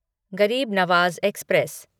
गरीब नवाज एक्सप्रेस